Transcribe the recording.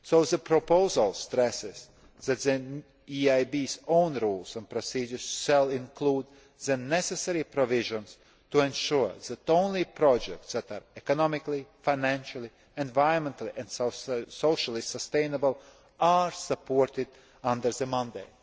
regions. The proposal stresses that the EIB's own rules and procedures shall include the necessary provisions to ensure that only projects that are economically, financially, environmentally and socially sustainable are supported under the